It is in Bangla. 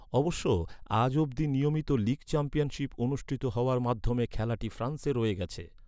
অবশ্য, আজ অবধি নিয়মিত লিগ চ্যাম্পিয়নশিপ অনুষ্ঠিত হওয়ার মাধ্যমে খেলাটি ফ্রান্সে রয়ে গেছে।